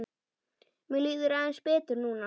Mér líður aðeins betur núna.